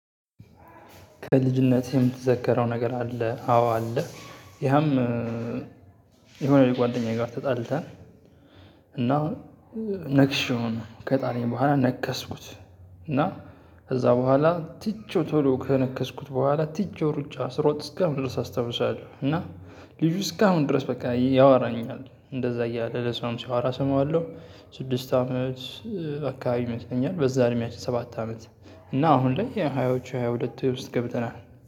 ከልጅነቴ የምትዘከረው ነገር አለ? አዎ አለ። ያም የሆነ ጓደኛዬ ጋር ተጣልተን። እና ነክሼው ነው ከጣለኝ በኋላ ነከስኩት። እና ከዛ በኋላ ትቼው ቶሎ ከነከስኩት በኋላ ትቼው ሩጫ ስሮጥ እስከ አሁን ድረስ አስታውሳለሁ። እና ልጁ እስካሁን ድረስ በቃ ያወራኛል እንደዛ እያለ ለሰውም ሲያወራ እሰማዋለሁ። ስድስት አመት አካባቢ ይመስለኛል በዛ እድሜያችን ሰባት አመት እና አሁን ላይ የሃያዎቹ ሃያ ሁለት ውስጥ ገብተናል።